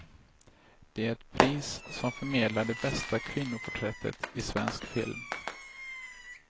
Det är ett pris som förmedlar det bästa kvinnoporträttet i svensk film.